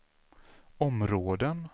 områden